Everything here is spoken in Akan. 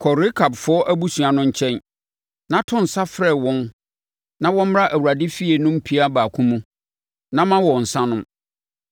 “Kɔ Rekabfoɔ abusua no nkyɛn, na to nsa frɛ wɔn na wɔmmra Awurade efie no mpia baako mu, na ma wɔn nsã nnom.”